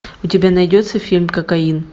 у тебя найдется фильм кокаин